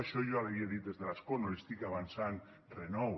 això jo ja li havia dit des de l’escó no li estic avançant re nou